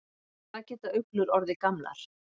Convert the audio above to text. Hvað geta uglur orðið gamlar?